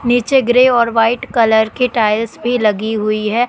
नीचे ग्रे और white colour की टाइल्स भी लगी हुई है।